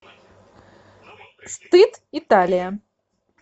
стыд италия